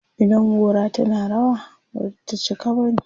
idan gora tana rawa, Bata cika bane